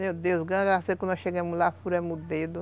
Meu Deus, graças a Deus, quando nós chegamos lá, furamos o dedo.